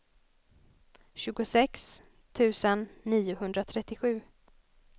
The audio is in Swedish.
tjugosex tusen niohundratrettiosju